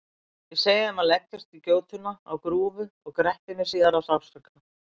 Ég segi þeim að leggjast í gjótuna á grúfu og gretti mig síðan af sársauka.